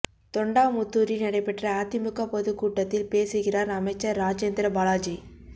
தொண்டாமுத்தூரில் நடைபெற்ற அதிமுக பொதுக் கூட்டத்தில் பேசுகிறாா் அமைச்சா் ராஜேந்திர பாலாஜி